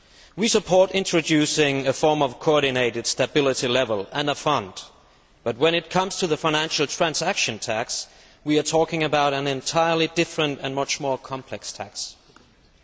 We support introducing a form of coordinated stability level and a fund, but when it comes to the financial transaction tax, we are talking about an entirely different and much more complex issue.